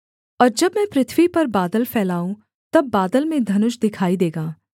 और जब मैं पृथ्वी पर बादल फैलाऊं तब बादल में धनुष दिखाई देगा